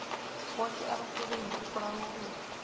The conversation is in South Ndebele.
boke abasebenzi ukurarulula